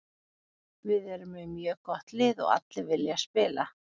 Við erum með mjög gott lið og allir vilja spila.